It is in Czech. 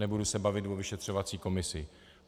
Nebudu se bavit o vyšetřovací komisi.